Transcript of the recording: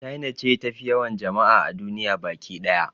China ce tafi yawan jama'a a duniya baki ɗaya